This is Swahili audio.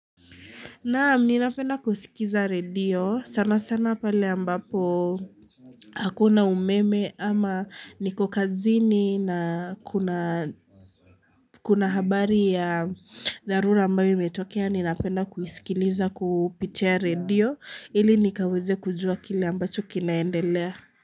Naam nina penda kusikiza radio sana sana pale ambapo hakuna umeme ama niko kazini na kuna, kuna habari ya dharura ambayo imetokea ninapenda kusikiliza kupitia radio ili nikaweze kujuwa kile ambacho kinaendelea.